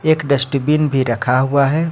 एक डस्टबिन भी रखा हुआ है।